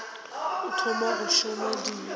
o thoma go šoma di